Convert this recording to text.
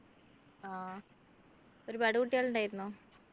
ആഹ് ഒരുപാട് കുട്ടികൾ ഉണ്ടായിരുന്നോ